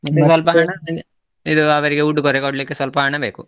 ಇದು ಅವರಿಗೆ ಉಡುಗೊರೆ ಕೊಡ್ಲಿಕ್ಕೆ ಸ್ವಲ್ಪ ಹಣ ಬೇಕು.